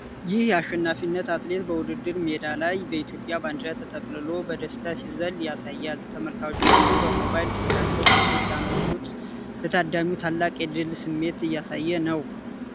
ይህ አሸናፊ አትሌት በውድድር ሜዳ ላይ በኢትዮጵያ ባንዲራ ተጠቅልሎ በደስታ ሲዘል ያሳያል። ተመልካቾች በሞባይል ስልካቸው ፎቶ ሲያነሱት፣ ለታዳሚው ታላቅ የድል ስሜት እያሳየ ነው።